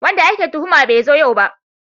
Wanda ake tuhuma bai zo yau ba